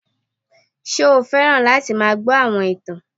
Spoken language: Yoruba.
Ṣé o fẹ́ràn láti máa gbọ́ àwọn ìtàn